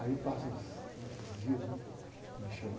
Aí passam os, os dias, né? E me chamam.